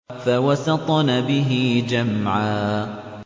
فَوَسَطْنَ بِهِ جَمْعًا